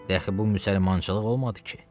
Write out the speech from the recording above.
De əxi bu müsəlmançılıq olmadı ki.